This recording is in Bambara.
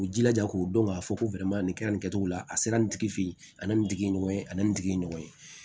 U jilaja k'u dɔn k'a fɔ ko nin kɛra nin kɛcogo la a sera nin tigi fɛ ye a ni nin tigi ye ɲɔgɔn ye ani nin tigi ye ɲɔgɔn ye